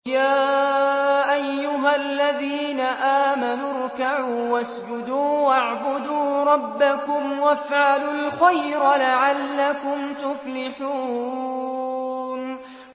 يَا أَيُّهَا الَّذِينَ آمَنُوا ارْكَعُوا وَاسْجُدُوا وَاعْبُدُوا رَبَّكُمْ وَافْعَلُوا الْخَيْرَ لَعَلَّكُمْ تُفْلِحُونَ ۩